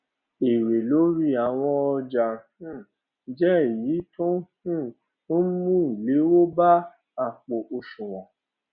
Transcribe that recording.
èrè lórí àwọn ọjà um jé èyí tó um n mú ìléwó bá àpò òṣùwòn